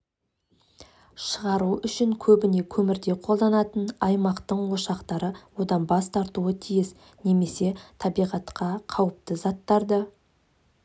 шығару үшін көбіне көмірді қолданатын аймақтың ошақтары одан бас тартуы тиіс немесе табиғатқа қауіпті заттарды